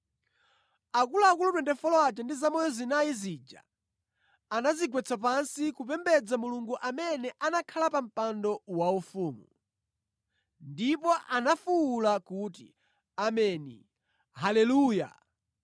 Akuluakulu 24 aja ndi zamoyo zinayi zija anadzigwetsa pansi kupembedza Mulungu amene anakhala pa mpando waufumu. Ndipo anafuwula kuti, “Ameni, Haleluya!”